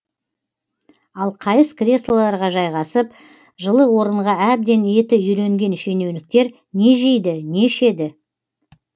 ал қайыс креслоларға жайғасып жылы орынға әбден еті үйренген шенеуніктер не жейді не ішеді